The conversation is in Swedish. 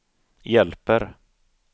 hjälper